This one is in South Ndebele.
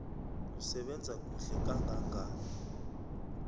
usebenza kuhle kangangani